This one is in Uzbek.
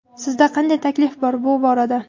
Sizda qanday taklif bor, bu borada?